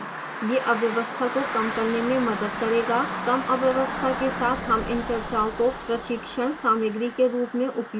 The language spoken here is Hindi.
यह अव्यवस्था को कम करने में मदद करेगा कम अव्यवस्था के साथ हम इन चर्चाओं को प्रशिक्षण सामग्री के रूप में उपयोग कर सकते हैं